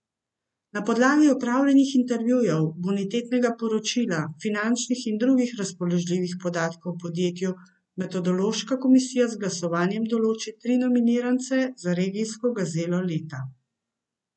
Na podlagi opravljenih intervjujev, bonitetnega poročila, finančnih in drugih razpoložljivih podatkov o podjetju metodološka komisija z glasovanjem določi tri nominirance za regijsko gazelo leta.